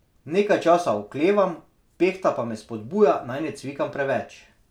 Nekaj časa oklevam, Pehta pa me spodbuja, naj ne cvikam preveč.